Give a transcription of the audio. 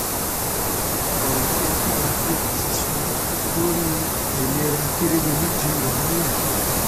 ọrọ tí alága apc sọ lórí um àìlera akérèdọlù di wàhálà um